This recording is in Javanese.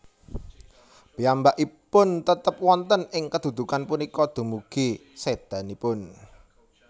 Piyambakipun tetp wonten ing kedudukan punika dumugi sdéanipun